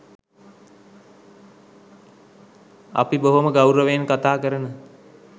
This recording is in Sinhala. අපි බොහෝම ගෞරවයෙන් කතා කරන